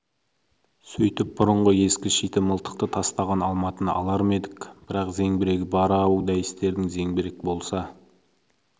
сөйтіп бұрынғы ескі шиті мылтықты тастаған алматыны алар ма едік бірақ зеңбірегі бар-ау дәйістердің зеңбірек болса